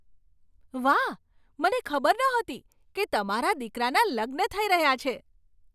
વાહ! મને ખબર નહોતી કે તમારા દીકરાના લગ્ન થઈ રહ્યા છે.